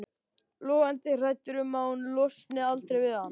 Logandi hrædd um að hún losni aldrei við hann.